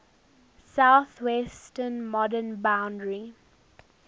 southwestern modern boundary